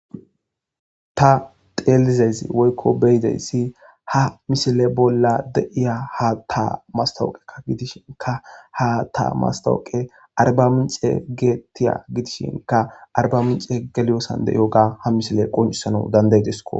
ta teelizezi woykko beyideyssi ha mishile bolla deiya ha ta mastawuqeka gidishinka ha ta mastawoqe arba mince geettiya gidishinka arba mince geliyosan de iyo ga ha misile qoncisana dandaydesko